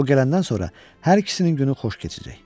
O gələndən sonra hər ikisinin günü xoş keçəcək.